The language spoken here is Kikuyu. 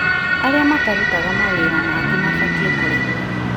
Arĩa matarutaga mawĩra mangĩ mabatiĩ kũrĩhwo